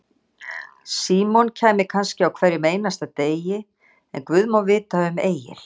Símon kæmi kannski á hverjum einasta degi, en guð má vita um Egil.